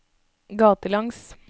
gatelangs